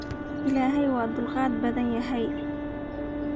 Illahey waa tulgad badanyhy.